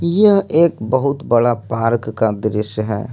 यह एक बहुत बड़ा पार्क का दृश्य है।